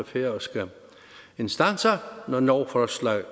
færøske instanser når lovforslag